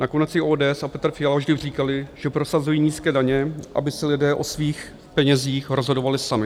Nakonec i ODS a Petr Fiala vždy říkali, že prosazují nízké daně, aby si lidé o svých penězích rozhodovali sami.